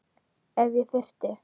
Ef ég þyrfti.